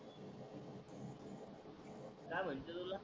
काय म्हणते तुला